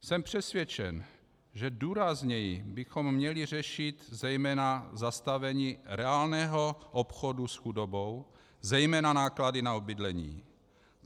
Jsem přesvědčen, že důrazněji bychom měli řešit zejména zastavení reálného obchodu s chudobou, zejména náklady na bydlení.